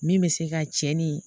Min bɛ se ka cɛ ni